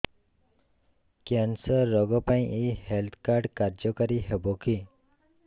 cancer ରୋଗ ପାଇଁ ଏଇ ହେଲ୍ଥ କାର୍ଡ କାର୍ଯ୍ୟକାରି ହେବ କି